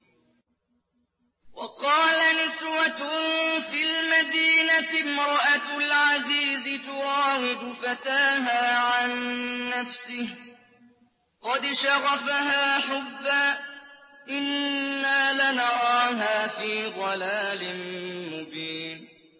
۞ وَقَالَ نِسْوَةٌ فِي الْمَدِينَةِ امْرَأَتُ الْعَزِيزِ تُرَاوِدُ فَتَاهَا عَن نَّفْسِهِ ۖ قَدْ شَغَفَهَا حُبًّا ۖ إِنَّا لَنَرَاهَا فِي ضَلَالٍ مُّبِينٍ